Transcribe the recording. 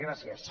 gràcies